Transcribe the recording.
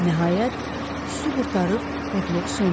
Nəhayət, su qurtarıb odluq söndü.